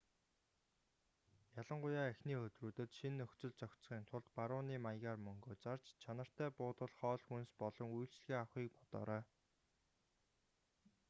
ялангуяа эхний өдрүүдэд шинэ нөхцөлд зохицохын тулд барууны маягаар мөнгө зарж чанартай буудал хоол хүнс болон үйлчилгээ авахыг бодоорой